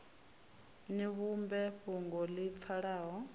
ni vhumbe fhungo ḽi pfalaho